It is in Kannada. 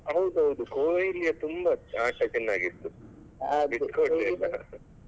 ಹೌದು ಹೌದು Kohli ತುಂಬಾ ಆಟ ತುಂಬ ಚೆನ್ನಾಗಿತ್ತು ಬಿಟ್ಟು ಕೊಡ್ಲಿಲ್ಲ.